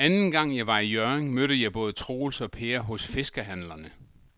Anden gang jeg var i Hjørring, mødte jeg både Troels og Per hos fiskehandlerne.